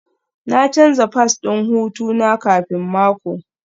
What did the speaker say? Na canza fass ɗin hutu na kafin mako